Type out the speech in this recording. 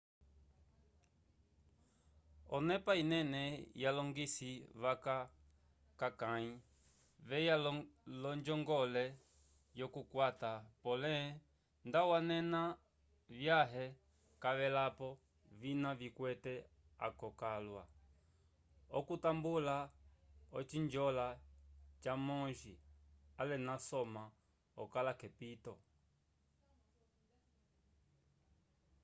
onepa inene yalongisi vaca k'akãyi veya l'onjongole yokukwata pole nda wanena vyãhe cavelapo vina vikwete akoka alwa okatambula ocinjola ca monge ale nasoma okala k'epito